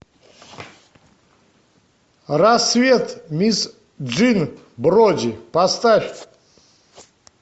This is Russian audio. расцвет мисс джин броди поставь